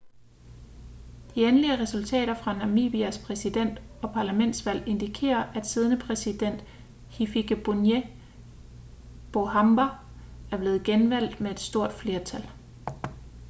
de endelige resultater fra namibias præsident- og parlamentsvalg indikerer at siddende præsident hifikepunye pohamba er blevet genvalgt med stort flertal